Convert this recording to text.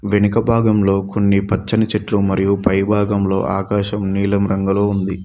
వెనుక భాగంలో కొన్ని పచ్చని చెట్లు మరియు పై భాగంలో ఆకాశం నీలం రంగులో ఉంది.